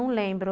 Não lembro.